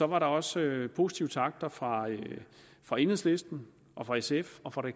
var der også positive takter fra fra enhedslisten fra sf og fra det